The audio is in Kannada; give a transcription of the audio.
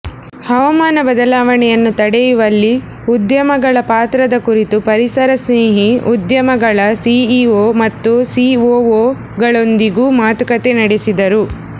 ಹವಾಮಾನ ಬದಲಾವಣೆಯನ್ನು ತಡೆಯುವಲ್ಲಿ ಉದ್ಯಮಗಳ ಪಾತ್ರದ ಕುರಿತು ಪರಿಸರ ಸ್ನೇಹಿ ಉದ್ಯಮಗಳ ಸಿಇಒ ಮತ್ತು ಸಿಒಒಗಳೊಂದಿಗೂ ಮಾತುಕತೆ ನಡೆಸಿದರು